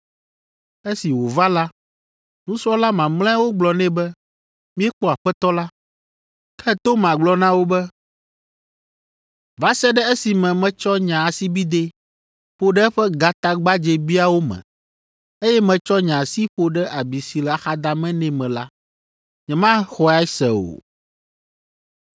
Esi wòva la, nusrɔ̃la mamlɛawo gblɔ nɛ be, “Míekpɔ Aƒetɔ la.” Ke Toma gblɔ na wo be, “Va se ɖe esime metsɔ nye asibidɛ ƒo ɖe eƒe gatagbadzɛbiawo me, eye metsɔ nye asi ƒo ɖe abi si le axadame nɛ me la, nyemaxɔe se o.”